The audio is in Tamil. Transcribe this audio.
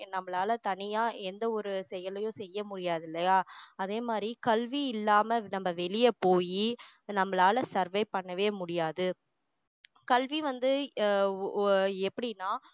நம்மளால தனியா எந்த ஒரு செயலையும் செய்ய முடியாது இல்லையா அதே மாதிரி கல்வி இல்லாம நம்ம வெளிய போயி நம்மளால survey பண்ணவே முடியாது கல்வி வந்து எர் அஹ் எப்படின்னா